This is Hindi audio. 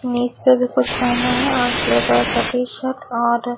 इमेज पे भी कुछ पहना है और ग्रे कलर का टी शर्ट और--